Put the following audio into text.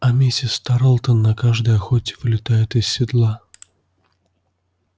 а миссис тарлтон на каждой охоте вылетает из седла